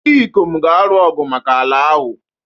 Ndị ikom ga-alụ ọgụ maka ala ahụ.